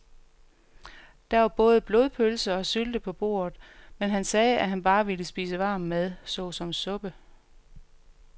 Der var både blodpølse og sylte på bordet, men han sagde, at han bare ville spise varm mad såsom suppe.